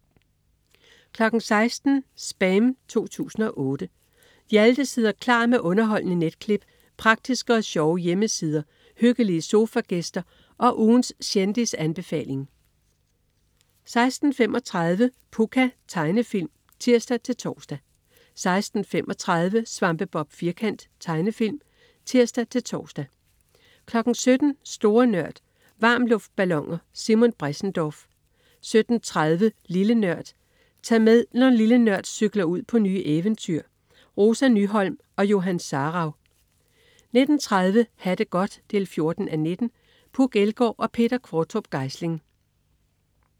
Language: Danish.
16.00 SPAM 2008. Hjalte sidder klar med underholdende netklip, praktiske og sjove hjemmesider, hyggelige sofagæster og ugens kendisanbefaling 16.30 Pucca. Tegnefilm (tirs-tors) 16.35 Svampebob Firkant. Tegnefilm (tirs-tors) 17.00 Store Nørd. Varmluftballoner. Simon Bressendorf 17.30 Lille Nørd. Tag med, når "Lille Nørd" cykler ud på nye eventyr. Rosa Nyholm og Johan Sarauw 19.30 Ha' det godt 14:19. Puk Elgård og Peter Qvortrup Geisling